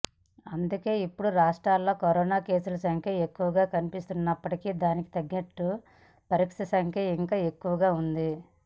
అందుకే ఇప్పుడు రాష్ట్రంలో కరోనా కేసుల సంఖ్య ఎక్కువగా కనిపిస్తున్నప్పటికీ దానికి తగ్గట్టు పరీక్షలు సంఖ్య ఇంకా ఎక్కువగా ఉంది